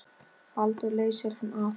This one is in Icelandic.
Baldur leysir hann af.